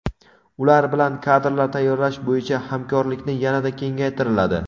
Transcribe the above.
ular bilan kadrlar tayyorlash bo‘yicha hamkorlikni yanada kengaytiriladi.